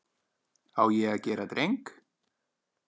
Á ég að gera dreng?